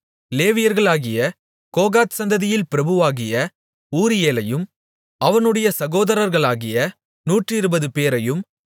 லேவியர்களாகிய Kohath சந்ததியில் பிரபுவாகிய ஊரியேலையும் அவனுடைய சகோதரர்களாகிய நூற்றிருபதுபேரையும்